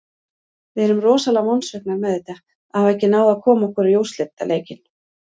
Við erum rosalega vonsviknar með þetta, að hafa ekki náð að koma okkur í úrslitaleikinn.